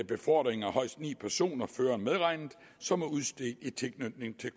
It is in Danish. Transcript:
befordring af højst ni personer føreren medregnet som er udstedt i tilknytning til